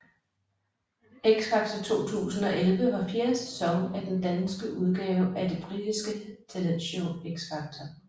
X Factor 2011 var fjerde sæson af den danske udgave af det britiske talentshow X Factor